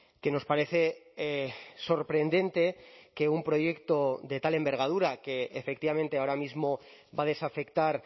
que nos parece sorprendente que un proyecto de tal envergadura que efectivamente ahora mismo va a desafectar